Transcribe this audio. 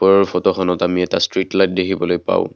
ওপৰৰ ফটোখনত আমি এটা ষ্ট্ৰীট লাইট দেখিবলৈ পাওঁ।